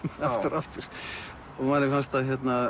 aftur og aftur manni fannst það